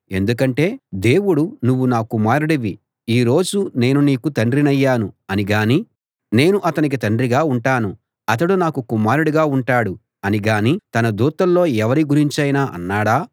ఎందుకంటే దేవుడు నువ్వు నా కుమారుడివి ఈ రోజు నేను నీకు తండ్రినయ్యాను అని గానీ నేను అతనికి తండ్రిగా ఉంటాను అతడు నాకు కుమారుడిగా ఉంటాడు అని గానీ తన దూతల్లో ఎవరి గురించైనా అన్నాడా